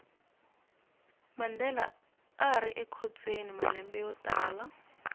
mandela arikhotsweni malembe yotala